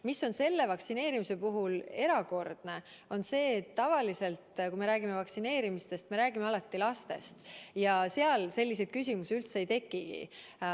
Mis on selle vaktsineerimise puhul erakordne, on see, et tavaliselt, kui me räägime vaktsineerimisest, me räägime alati lastest ja nende puhul selliseid küsimusi üldse ei tekigi.